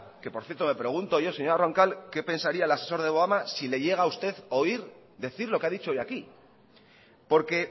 que por cierto me pregunto yo señora roncal qué pensaría el asesor de obama si le llega a usted oír decir lo que ha dicho hoy aquí porque